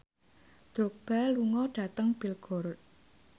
Drogba lunga dhateng Belgorod